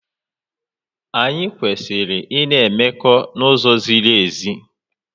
Anyị kwesịrị ị na-emekọ n'uzo ziri ezi.